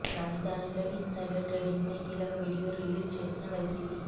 రాజధానిలో insider trading పై కీలక వీడియో రిలీజ్ చేసిన వైసీీపీ